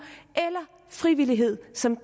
frivillighed som